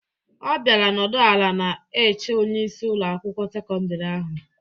Ọ bịara nọdụ ala na-eche onyeisi Ụlọ akwụkwọ sekọndrị ahụ.